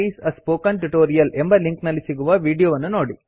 ಇದು spoken tutorial project ನ ಸಾರಾಂಶವನ್ನು ಹೇಳುತ್ತದೆ